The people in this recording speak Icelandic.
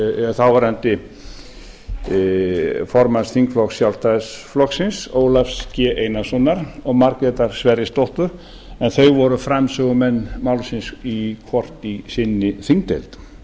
þáverandi formanns þingflokks sjálfstæðisflokksins ólafs g einarssonar og margrétar sverrisdóttur en þau voru framsögumenn málsins hvort í sinni þingdeild